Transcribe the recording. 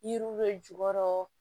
Yiriw bɛ jukɔrɔ